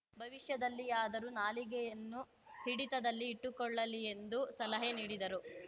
ಭವಿಷ್ಯದಲ್ಲಿಯಾದರೂ ನಾಲಿಗೆಯನ್ನು ಹಿಡಿತದಲ್ಲಿ ಇಟ್ಟುಕೊಳ್ಳಲಿ ಎಂದು ಸಲಹೆ ನೀಡಿದರು